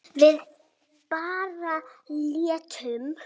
Við bara leitum.